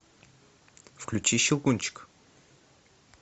включи щелкунчик